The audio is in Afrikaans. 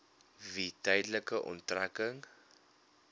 wie tydelike onttrekking